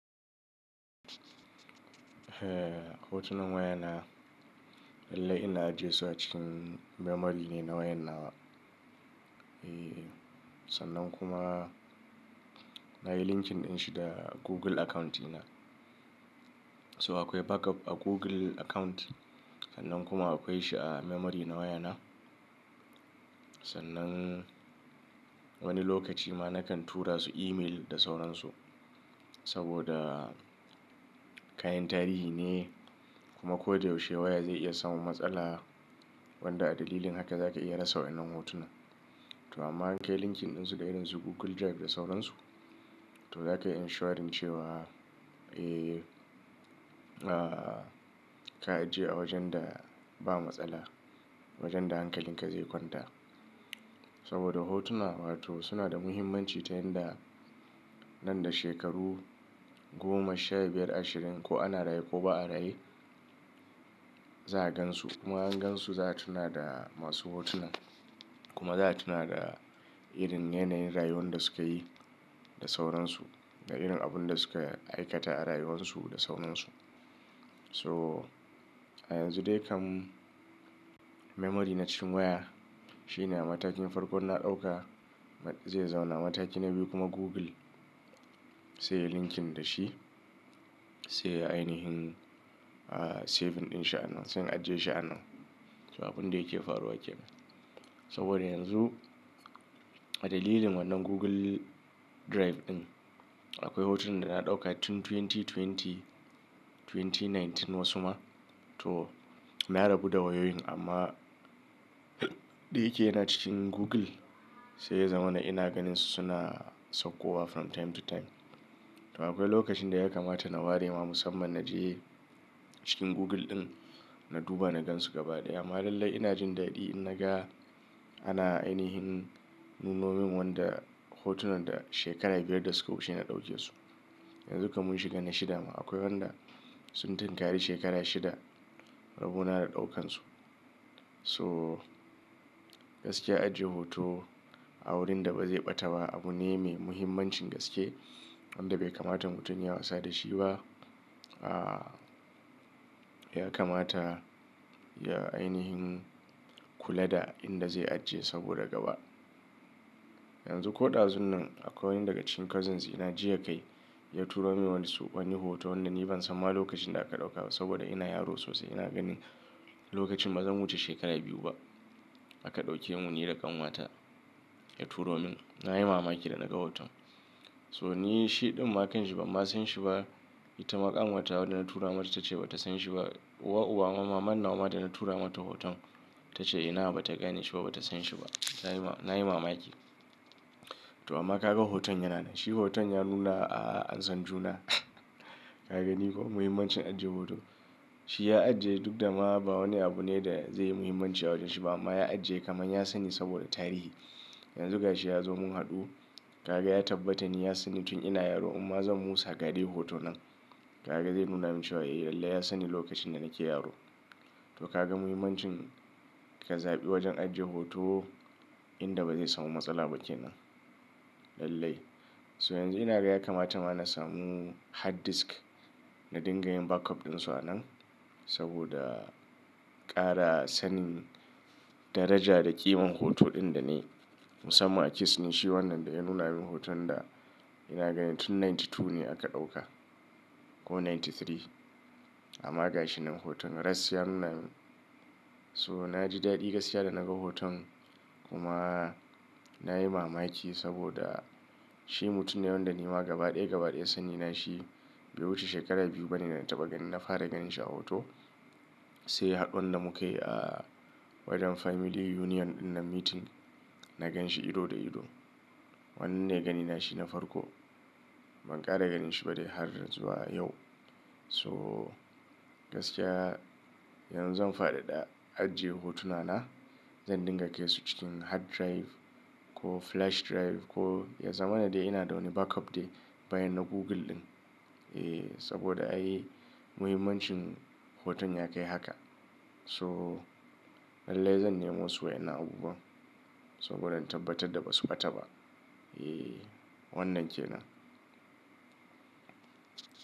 Eh, hotunan wayana lallai ina ajiye su a cikin memory ne na wayan nawa. Eh, sannan kuma na yi linking ɗin shi da Google account ina. So akwai backup a Google account. Sannan kuma akwai shi a memory na wayana. Sannan wani lokaci ma nakan tura su email da sauransu. Saboda kayan tarihi ne kuma ko da yaushe waya zai iya samun matsala wanda a dalilin haka za ka iya rasa wannan hotunan. To amma in ka yi linking ɗin su da irin su Google Drive da sauransu, to za ka yi ensuring cewa, eh, ah, ka ajiye a wajen da ba matsala, wajen da hankalin ka zai kwanta. Saboda hotuna, wato suna da muhimmanci ta yanda nan da shekaru goma, shabiyar, ashirin ko ana raye ko ba a raye, za a gansu. Kuma an gansu za a tuna da masu hotunan. Kuma za a tuna da irin yanayin rayuwan da sukayi da sauransu. Da irin abun da suka aikata a rayuwansu da sauransu. So a yanzu dai kam memory na cikin waya shine a matakin farkon na ɗauka. Zai zauna a mataki na biyu kuma Google sai yayi linking da shi. Sai ainihin, ah, saving ɗin shi anan, sai in ajiye shi anan. So abun da yake faruwa ke nan. Saboda yanzu a dalilin wannan Google Drive ɗin akwai hotun da na ɗauka tun dubu biyu da ashirin, dubu biyu da sha tara wasu ma. To na rabu da wayoyin amma da yake yana cikin Google sai ya zama na ina ganin su suna saukowa from time to time. To akwai lokacin da ya kamata na ware ma musamman na je cikin Google ɗin na duba na gan su gaba ɗaya. Ma lallai ina jin daɗi in naga ana ainihin nunomin wanda hotunan da shekara biyar da suka wuce na ɗauke su. Yanzu kam mun shiga na shida ma. Akwai wanda sun tunkari shekara shida rabo na da ɗaukan su. So gaskiya ajiye hoto a wurin da ba zai ɓata ba abu ne mai muhimmancin gaske wanda bai kamata mutum yayi wasa da shi ba. Ah, ya kamata ya ainihin kula da inda zai ajiye saboda gaba. Yanzu ko ɗazun nan akwai wani daga cikin cousins ina jiya kai ya turo min wani su-- wani hoto wanda ni ban san ma lokacin da aka ɗaukawa saboda ina yaro sosai. Ina ganin lokacin ba zan wuce shekara biyu ba aka ɗauke mu ni da ƙanwata. Ya turo min. Na yi mamaki da naga hoton. So ni shi ɗin ma kan shi ba ma san shi ba. Ita ma ƙanwata wadda na tura mata ta ce ba ta san shi ba. Uwa uba ma, maman nawa ma da na tura mata hoton ta ce ina ba ta gane shi ba, ba ta san shi ba. Na yi ma-na yi mamaki. To amma ka ga hoton yana nan. Shi hoton ya nuna a Ansan juna. Ka ga ni ko muhimmancin ajiye hoto? Shi ya ajiye duk da ma ba wani abu ne da zai yi muhimmanci a wajen shi ba amma ya ajiye kamar ya sani saboda tarihi. Yanzu ga shi ya zo mun haɗu. Ka ga ya tabbata ni ya sanni tun ina yaro imma zan musa ga dai hoto nan. Ka ga zai nuna min cewa eh lallai ya sanni lokacin da nake yaro. To ka ga muhimmancin ka zaɓi wajen ajiye hoto inda ba zai samu matsala ba ke nan. Lallai. So yanzu ina ga ya kamata ma na samu hard disk na dinga yin backup ɗin su a nan. Saboda ƙara sanin daraja da ƙiman hoto ɗin da nayi musamman a kes ni shi wannan da ya nuna min hoton da ina gani tun casa'in da biyu ne aka ɗauka ko casa'in da uku. Amma ga shi nan hoton. Rass ya nuna mun. So na ji daɗi gaskiya da naga hoton kuma na yi mamaki saboda shi mutum ne wanda ni ma gaba ɗaya gaba ɗaya sani na shi bai wuce shekara biyu bane da na taɓa gani. Na fara ganin shi a hoto sai haɗuwan da muka yi a wajen family union ɗin nan meeting. Na gan shi ido da ido. Wannan ne gani na shi na farko. Ban ƙara ganin shi ba dai har zuwa yau. So gaskiya yanzu zan faɗaɗa ajiye hotuna na. Zan dinga kaisu cikin hard drive ko flash drive ko ya zama na dai ina da wani backup dai bayan na Google ɗin. Eh saboda ai muhimmancin hoton ya kai haka. So lallai zan nemo su wa'innan abubuwa saboda in tabbatar da ba su ɓata ba. Eh wannan ke nan.